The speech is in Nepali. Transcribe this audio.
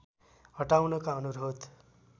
हटाउनका अनुरोध